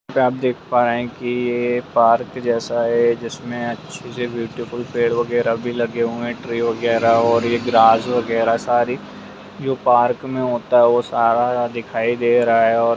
जैसा की आप देख पा रहे है की पार्क जैसा है जिसमें अच्छे से ब्यूटीफुल पेड़ वैगरह भी लगे हुए है ट्री वैगरह और ग्रास वैगरह सारी जो पार्क में होता है सारा दिखाई दे रहा है और --